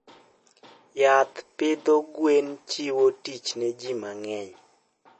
Yath pidho gwen chiwo tich ne ji mang'eny.